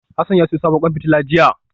Hassan ya siyo sabon kwan fitila jiya